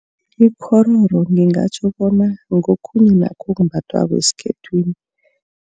Ikghororo ngingatjho bona ngokhunye nakho okumbathwako esikhethwini.